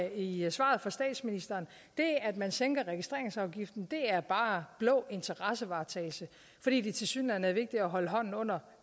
i svaret fra statsministeren det at man sænker registreringsafgiften er bare blå interessevaretagelse fordi det tilsyneladende er vigtigere at holde hånden under